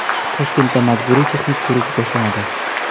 Toshkentda majburiy texnik ko‘rik boshlanadi .